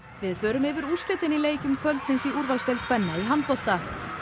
við förum yfir úrslitin í leikjum kvöldsins í úrvalsdeild kvenna í handbolta